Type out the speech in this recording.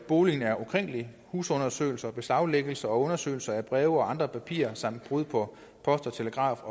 boligen er ukrænkelig husundersøgelse beslaglæggelse og undersøgelse af breve og andre papirer samt brud på post telegraf og